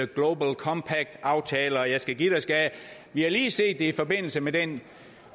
global compact aftale og jeg skal give dig skal jeg vi har lige set det i forbindelse med den